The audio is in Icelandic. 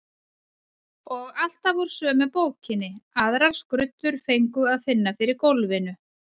Og alltaf úr sömu bókinni, aðrar skruddur fengu að finna fyrir gólfinu.